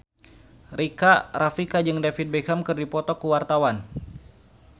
Rika Rafika jeung David Beckham keur dipoto ku wartawan